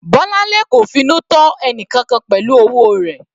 Bolanle kò finú tọ́ ẹnìkankan pẹ̀lú owó rẹ̀.